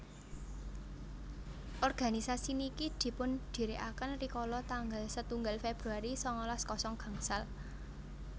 organisasi niki dipundhirikaken rikala tanggal setunggal Februari sangalas kosong gangsal